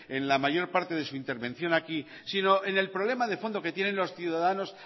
en la mayor parte de su intervención aquí sino en el problema de fondo que tienen los ciudadanos